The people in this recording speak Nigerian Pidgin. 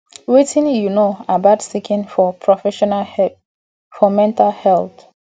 wetin you know about seeking for professional help for mental health